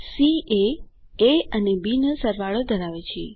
C એ A અને B નો સરવાળો ધરાવે છે